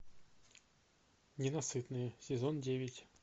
ненасытные сезон девять